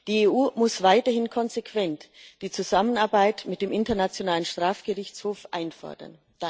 Die EU muss weiterhin konsequent die Zusammenarbeit mit dem Internationalen Strafgerichtshof einfordern.